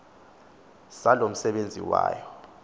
saloo msebenzi wayo